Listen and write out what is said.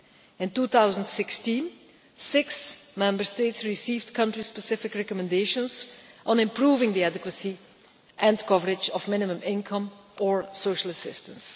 In 2016, six Member States received country specific recommendations on improving the adequacy and coverage of minimum income or social assistance.